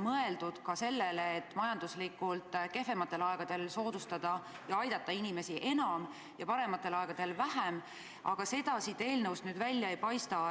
mõeldud ka sellele, et majanduslikult kehvematel aegadel aidata inimesi enam ja parematel aegadel vähem, aga seda siit eelnõust välja ei paista.